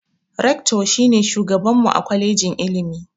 "Rector" shi ne shugaban mu a kwalejin ilimi